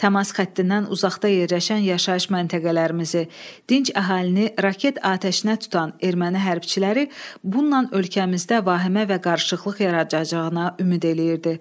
Təmas xəttindən uzaqda yerləşən yaşayış məntəqələrimizi, dinc əhalini raket atəşinə tutan erməni hərbçiləri bununla ölkəmizdə vahimə və qarışıqlıq yaradacağına ümid eləyirdi.